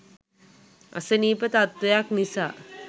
අසනීප තත්වයක් නිසා